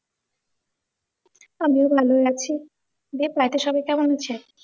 আর বলনা গো ঐ আছি। দিয়ে flat এ সবাই কেমন আছে?